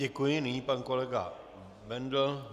Děkuji, nyní pan kolega Bendl...